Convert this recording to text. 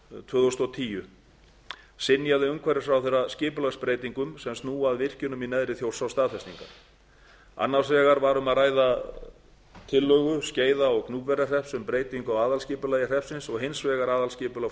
tvö þúsund og tíu synjaði umhverfisráðherra skipulagsbreytingum sem snúa að virkjunum í neðri þjórsá staðfestingar annars vegar var um að ræða tillögu skeiða og gnúpverjahrepps um breytingu á aðalskipulagi hreppsins og hins vegar aðalskipulag